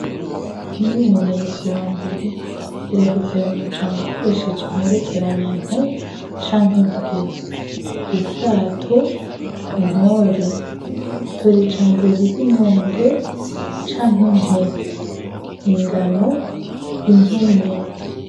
Umwimenyerezo wa mbere heraheza ayo majambo ukoresheje imperekeranya nt canke bw ubwato Ntore tora ijambo ririmwo ng canke mp ingano impene